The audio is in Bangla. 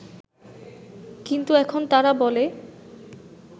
কিন্তু এখন তারা বলে